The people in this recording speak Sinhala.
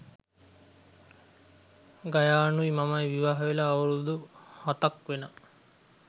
ගයානුයි මමයි විවාහවෙලා අවුරුදු හතක්‌ වෙනවා.